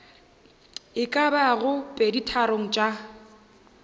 e ka bago peditharong tša